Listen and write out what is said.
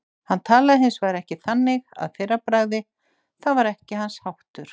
Hann talaði hins vegar ekki þannig að fyrra bragði, það var ekki hans háttur.